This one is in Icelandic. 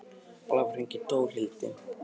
Blævar, hringdu í Dórhildi.